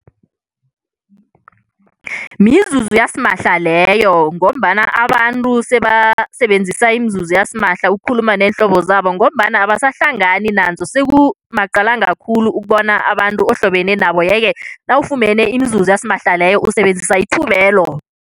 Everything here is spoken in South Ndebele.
Mizuzu yasimahla leyo ngombana abantu sebasebenzisa imizuzu yasimahla ukukhuluma neenhlobo zabo ngombana abasahlangani nanzo sekumaqalanga khulu ukubona abantu ohlobene nabo, yeke nawufumene imizuzo yasimahla leyo usebenzisa ithubelo.